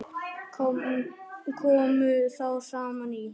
Komu þá saman í